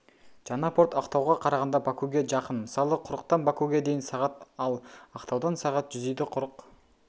жаңа порт ақтауға қарағанда бакуге жақын мысалы құрықтан бакуге дейін сағат ал ақтаудан сағат жүзиді құрық